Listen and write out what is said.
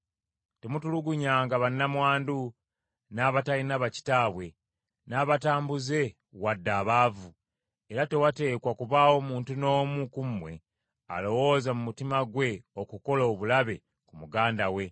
Temutulugunyanga bannamwandu, n’abatalina bakitaabwe, n’abatambuze wadde abaavu, era tewateekwa kubaawo muntu n’omu ku mmwe alowooza mu mutima gwe okukola obulabe ku muganda we!’